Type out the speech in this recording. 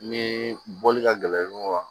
Ni bɔli ka gɛlɛn